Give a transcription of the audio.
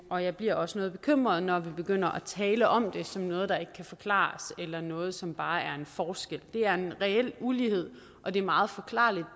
og jeg bliver også noget bekymret når vi begynder at tale om det som noget der ikke kan forklares eller noget som bare er en forskel der er en reel ulighed og det er meget forklarligt